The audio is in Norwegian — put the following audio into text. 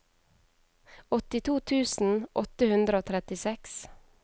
åttito tusen åtte hundre og trettiseks